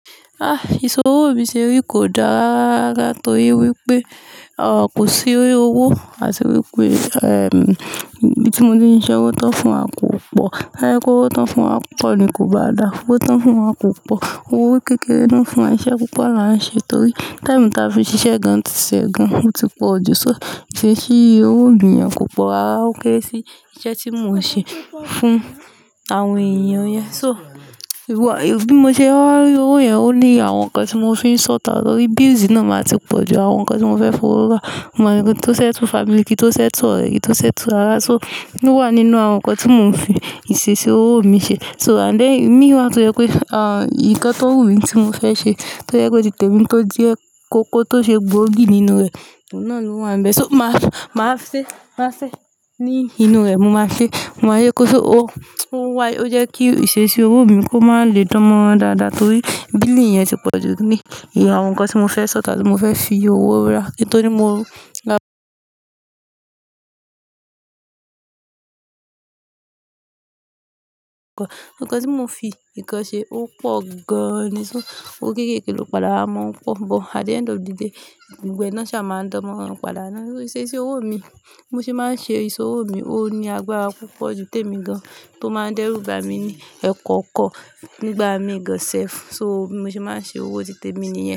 Ah! Ìṣòwò òbí ṣe rí kò dára rárá tó iye wípé, à, kò sí owó, àti wípé, ehm, bí tí mo ní iṣẹ́ ọwọ́ tán fún à kò pọ̀. Tó bá jẹ́ wípé owó tán fún à pọ̀ ni kò bá da. Owó tán fún à kò pọ̀. Owó kékeré ló ń fún wa. Iṣẹ́ púpọ̀ là ń ṣe torí táìmù tí a fi ṣiṣẹ́ gan-ṣe gan-an ti pọ̀ jù. So ìṣesí owó òbí à kò pọ̀ rárá, ó kéré sí iṣẹ́ tí mò ń ṣe fún àwọn èèyàn yẹn. So, bí mo ṣe bá rí owó ẹ, ó ní àwọn nkan tí mò ń fi n sought out torí bills iná máa ti pọ̀ jù. Àwọn nǹkan tí mò fẹ́ fi owó rà, àwọn ẹni tó settle family, kíi ń tó settle ọ̀rẹ́, kíi ń tó settle ara. So, ó wà nínú àwọn nǹkan tí mò ń fi ìṣesí owó mi ṣe. So, and then, imí wá tó yẹ pé, à, nǹkan tó wù mí tí mò fẹ́ ṣe tó jẹ́ pé títè mí kó jẹ, koko tó ṣe gbóògì nínú rẹ̀, ìwọ̀n náà ló wà níbẹ̀. So, mà á, mà á ṣe, mà á ṣe. Nínú rẹ̀, mò máa ṣe. Mo máa yẹ kó ṣe ó, kí ó wáyé. Ó jẹ́ kí ìṣesí owó mi kó máa lè dánmọ́rán dáadáa torí billing yẹn ti pọ̀ jù ní àwọn nǹkan tí mò fẹ́ sought out, tí mò fẹ́ fi owó rà. But, at the end of the day, gbogbo ẹ ná ṣá má ń dọgbọn padà ná ni. Ìṣe sí owó mi, bí mo ṣe má ń ṣe ìṣòwò mi ò ní agbára púpọ̀ jù, tèmi gan, tó ma ń dẹ́rùbàmí ni ẹ̀kan kàn.